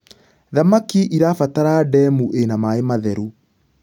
thamakĩ irabatara ndemu ina maĩ matheru